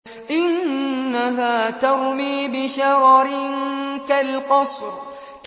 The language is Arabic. إِنَّهَا تَرْمِي بِشَرَرٍ كَالْقَصْرِ